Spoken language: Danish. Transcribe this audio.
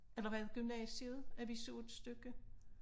Eller var det gymnasiet at vi så et stykke